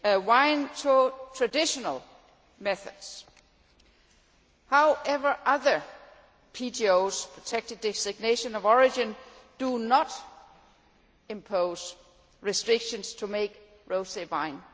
wine to traditional methods. However, other protected designations of origin do not impose restrictions on making rosé wine.